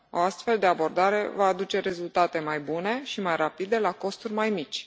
O astfel de abordare va aduce rezultate mai bune și mai rapide, la costuri mai mici.